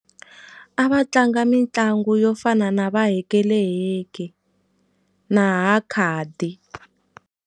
A va tlanga mitlangu yo fana na va hekeleheke na hakhadi.